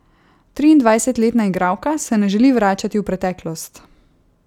Triindvajsetletna igralka se ne želi vračati v preteklost.